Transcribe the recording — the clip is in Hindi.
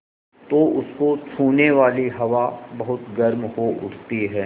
तो उसको छूने वाली हवा बहुत गर्म हो उठती है